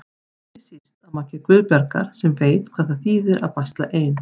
Ekki síst að mati Guðbjargar sem veit hvað það þýðir að basla ein.